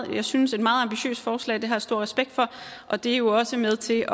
her synes jeg meget ambitiøse forslag det har jeg stor respekt for og det er jo også med til